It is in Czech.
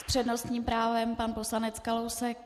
S přednostním právem pan poslanec Kalousek.